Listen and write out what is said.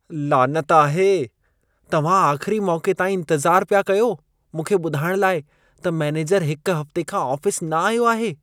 लानत आहे! तव्हां आख़िरी मौक़े ताईं इंतज़ार पिया कयो मूंखे ॿुधाइण लाइ त मैनेजर हिक हफ़्ते खां आफ़िस न आयो आहे।